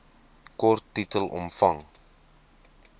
kort titel omvang